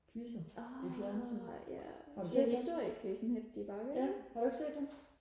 quizzer i fjernsynet har du set dem ja har du ikke set dem